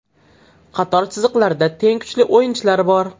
Qator chiziqlarda teng kuchli o‘yinchilar bor.